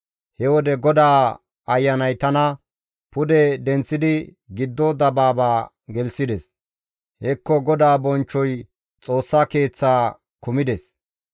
He wode GODAA Ayanay tana pude denththidi giddo dabaaba gelththides; hekko GODAA bonchchoy Xoossa Keeththa kumides.